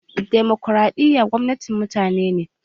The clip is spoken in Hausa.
Demokraɗiyya gwamnatin mutane ne.